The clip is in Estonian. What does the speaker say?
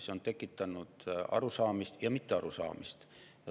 See on tekitanud arusaamist ja mittearusaamist.